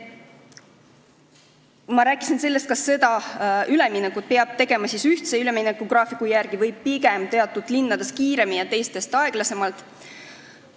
Ma rääkisin sellest, kas seda üleminekut peab tegema ühtse üleminekugraafiku järgi või pigem teatud linnades kiiremini ja teistes aeglasemalt.